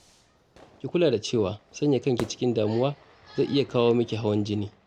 Ki kula da cewa, sanya kanki a cikin damuwa zai iya kawo miki hawan jini